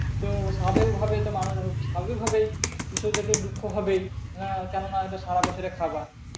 তো স্বাভাবিক ভাবেই তো মানুষ স্বাভাবিক ভাবেই বিষয়টাতে দুঃখ হবেই না কেননা ইটা সারা বছরের খাবার